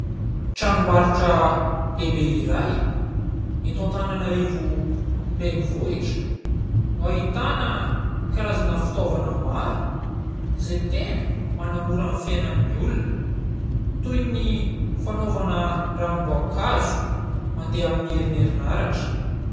Tranom-barotra lehibe iray eto Antananarivo renivohitra no ahitana karazana fitaovana maro izay tena manamora ny fiainan'ny olona toy ny fanaovana ranom-boankazo mandeha amin'ny herin'ny herinaratra.